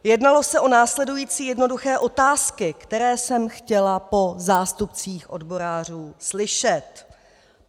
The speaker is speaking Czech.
Jednalo se o následující jednoduché otázky, které jsem chtěla po zástupcích odborářů slyšet.